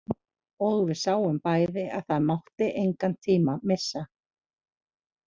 Og við sáum bæði að það mátti engan tíma missa.